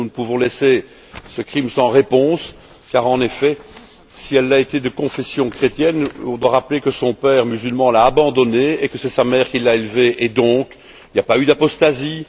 Nous ne pouvons laisser ce crime sans réponse car, en effet, si elle a été de confession chrétienne, on doit rappeler que son père, musulman, l'a abandonné et que c'est sa mère qui l'a élevée et donc, il n'y a pas eu d'apostasie.